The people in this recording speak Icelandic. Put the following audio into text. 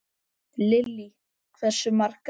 Lillý: Hversu margar?